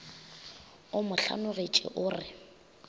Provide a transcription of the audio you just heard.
o mo hlanogetše o re